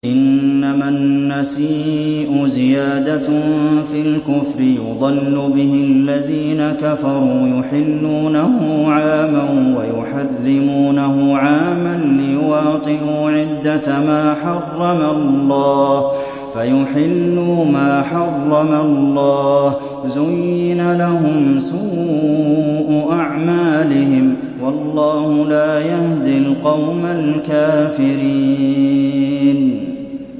إِنَّمَا النَّسِيءُ زِيَادَةٌ فِي الْكُفْرِ ۖ يُضَلُّ بِهِ الَّذِينَ كَفَرُوا يُحِلُّونَهُ عَامًا وَيُحَرِّمُونَهُ عَامًا لِّيُوَاطِئُوا عِدَّةَ مَا حَرَّمَ اللَّهُ فَيُحِلُّوا مَا حَرَّمَ اللَّهُ ۚ زُيِّنَ لَهُمْ سُوءُ أَعْمَالِهِمْ ۗ وَاللَّهُ لَا يَهْدِي الْقَوْمَ الْكَافِرِينَ